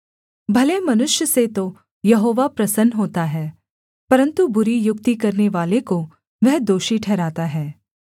भले मनुष्य से तो यहोवा प्रसन्न होता है परन्तु बुरी युक्ति करनेवाले को वह दोषी ठहराता है